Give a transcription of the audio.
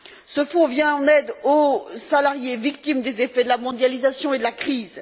Ce fonds vient en aide aux salariés victimes des effets de la mondialisation et de la crise.